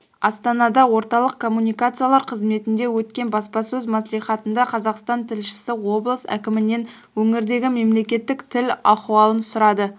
астанада орталық коммуникациялар қызметінде өткен баспасөз мәслихатында қазақстан тілшісі облыс әкімінен өңірдегі мемлекеттік тіл ахуалын сұрады